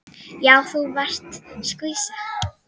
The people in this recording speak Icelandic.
Já, þú varst skvísa.